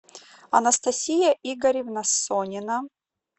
анастасия игоревна сонина